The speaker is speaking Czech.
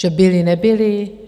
Že byly, nebyly?